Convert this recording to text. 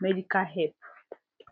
medical help